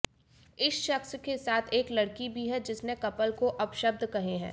इस शख्स के साथ एक लड़की भी है जिसने कपल को अपशब्द कहे हैं